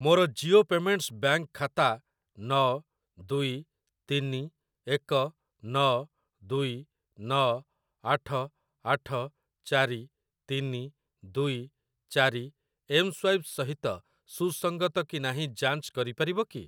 ମୋର Jio payments bank ଖାତା ନ ଦୁଇ ତିନି ଏକ ନ ଦୁଇ ନ ଆଠ ଆଠ ଚାରି ତିନି ଦୁଇ ଚାରି ଏମ୍‌ସ୍ୱାଇପ୍‌ ସହିତ ସୁସଙ୍ଗତ କି ନାହିଁ ଯାଞ୍ଚ କରିପାରିବ କି?